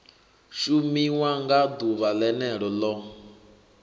shumiwa nga ḓuvha ḽene ḽo